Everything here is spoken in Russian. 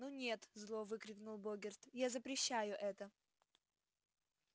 ну нет зло выкрикнул богерт я запрещаю это